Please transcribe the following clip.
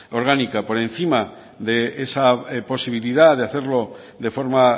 orgánica por encima de esa posibilidad de hacerlo de forma